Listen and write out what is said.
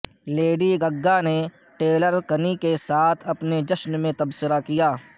lady Gaga نے Taylor Kinney کے ساتھ اپنے جشن میں تبصرہ کیا